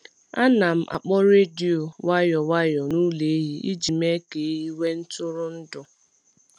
A na m akpọ redio nwayọ nwayọ n’ụlọ ehi iji mee ka ehi nwee ntụrụndụ.